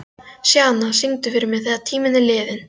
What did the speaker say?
Sjana, syngdu fyrir mig „Þegar tíminn er liðinn“.